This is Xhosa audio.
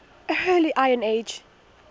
early iron age